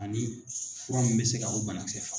Ani fura min bɛ se ka o banakisɛ faga.